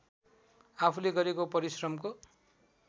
आफूले गरेको परिश्रमको